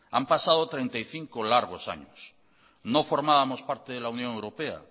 han pasado treinta y cinco largos años no formábamos parte de la unión europea